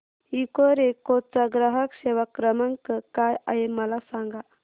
Ecoreco चा ग्राहक सेवा क्रमांक काय आहे मला सांग